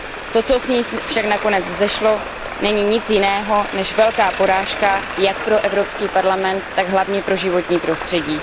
To, co z něj však nakonec vzešlo, není nic jiného než velká porážka jak pro Evropský parlament, tak hlavně pro životní prostředí.